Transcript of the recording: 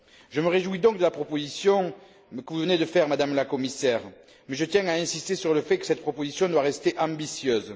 Je me réjouis donc de la proposition que vous venez de faire, Madame la Commissaire, mais je tiens à insister sur le fait que cette proposition doit rester ambitieuse.